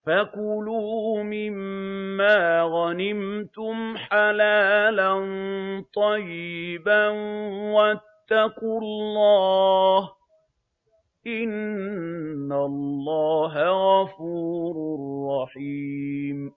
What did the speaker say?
فَكُلُوا مِمَّا غَنِمْتُمْ حَلَالًا طَيِّبًا ۚ وَاتَّقُوا اللَّهَ ۚ إِنَّ اللَّهَ غَفُورٌ رَّحِيمٌ